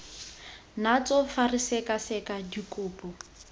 natso fa re sekaseka dikopo